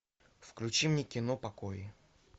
включи мне кино покои